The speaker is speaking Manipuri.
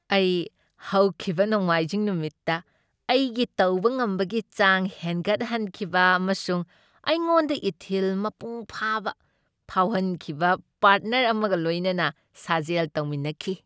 ꯑꯩ ꯍꯧꯈꯤꯕ ꯅꯣꯡꯃꯥꯏꯖꯤꯡ ꯅꯨꯃꯤꯠꯇ ꯑꯩꯒꯤ ꯇꯧꯕ ꯉꯝꯕꯒꯤ ꯆꯥꯡ ꯍꯦꯟꯒꯠꯍꯟꯈꯤꯕ ꯑꯃꯁꯨꯡ ꯑꯩꯉꯣꯟꯗ ꯏꯊꯤꯜ ꯃꯄꯨꯡ ꯐꯥꯕ ꯐꯥꯎꯍꯟꯈꯤꯕ ꯄꯥꯔꯠꯅꯔ ꯑꯃꯒ ꯂꯣꯏꯅꯅ ꯁꯥꯖꯦꯜ ꯇꯧꯃꯤꯟꯅꯈꯤ ꯫